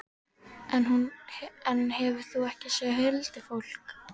En hefur þú ekki séð huldufólk?